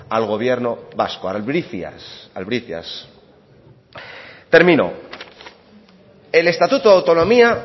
al gobierno vasco albricias albricias termino el estatuto de autonomía